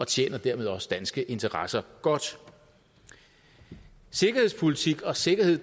tjener dermed også danske interesser godt sikkerhedspolitik og sikkerhed